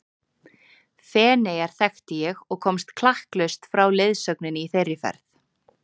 Feneyjar þekkti ég og komst klakklaust frá leiðsögninni í þeirri ferð.